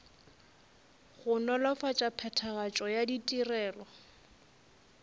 go nolofatša phethagatšo ya ditirelo